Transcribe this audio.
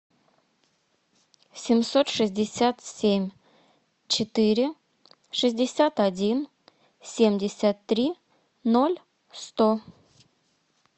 семьсот шестьдесят семь четыре шестьдесят один семьдесят три ноль сто